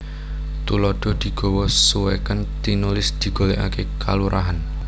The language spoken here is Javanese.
Tuladha digawa suwèken tinulis digolèkaké kalurahan